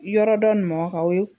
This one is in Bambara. Yɔrɔ dɔ nin mɔgɔ k'aw ye.